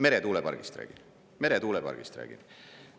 Meretuulepargist räägin, meretuulepargist räägin.